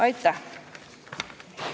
Aitäh!